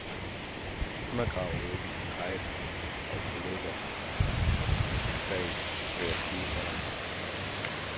Undergraver du ikke dit eget og kollegers fag ved at sige sådan?